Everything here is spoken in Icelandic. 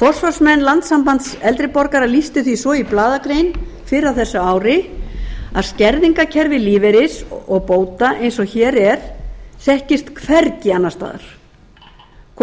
forsvarsmenn landssamtaka eldri borgara lýstu því svo í blaðagrein fyrr á þessu ári að skerðingarkerfi lífeyris og bóta eins og hér er þekktist hvergi annars staðar